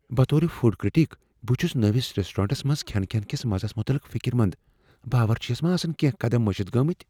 بطور food critic, بہٕ چھس نٔوس ریسٹورینٹس منز کھین کس مزس متعلق فکر مند۔ باورچی یس ما آسن کینٛہہ قدم مشتھ گمتۍ۔